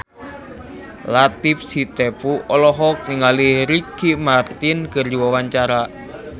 Latief Sitepu olohok ningali Ricky Martin keur diwawancara